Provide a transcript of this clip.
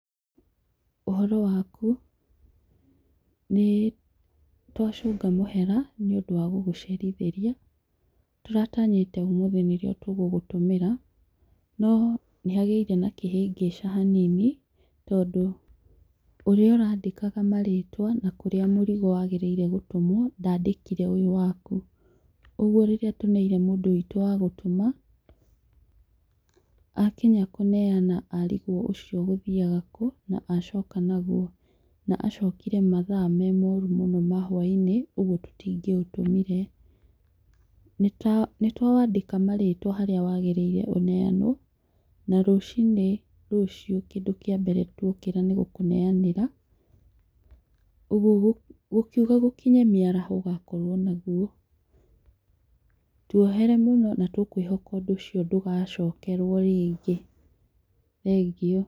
Ũhoro waku, nĩtwacunga mũhera, nĩũndũ wa gũgũcerithĩria, tũratanyĩte ũmũthĩ nĩrio tũgũgũtũmĩra, no nĩhagĩire na kĩhĩngĩca hanini, tondũ ũrĩa ũrĩandĩkaga marĩtwa na kũrĩa mũrigo wagĩrĩire gũtũmwo, ndandĩkire ũyũ waku. ũguo rĩrĩa tũneire mũndũ witũ wa gũtũma, akinya kũneana arigwo ũcio ũgũthiaga kũ, na acoka naguo. Na acokire mathaa me moru mũno ma hwainĩ, ũguo tũtingĩũtũmiree, nĩtwa nĩtwawandĩka marĩtwa harĩa wagĩrĩire ũneanwo, na rũcinĩ rũcio kindũ kĩa mbere twokĩra nĩgũkũneanĩra, ũguo gũkiuga gũkinye mĩaraho ũgakorwo naguo. Tũohere mũno na twĩkwĩhoka ũndũ ũcio ndũgacokerwo rĩngĩ. Thengio.